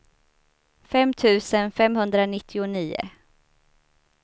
fem tusen femhundranittionio